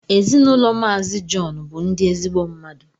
Ezinụlọ mazi John bu ndi ezigbo mmadụ